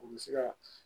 U bɛ se ka